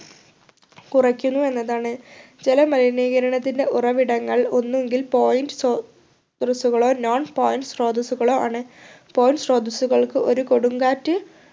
കുറയ്ക്കുന്നു എന്നതാണ് ജലമലിനീകരണത്തിൻ്റെ ഉറവിടങ്ങൾ ഒന്നുങ്കിൽ point ശ്രോതസ്സുകളോ non point ശ്രോതസ്സുകളോ ആണ് point ശ്രോതസ്സുകൾക്ക് ഒരു കൊടുങ്കാറ്റ്